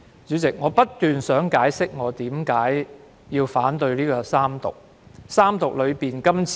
主席，我一直希望解釋我為何反對三讀《條例草案》。